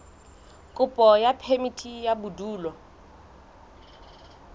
kopo ya phemiti ya bodulo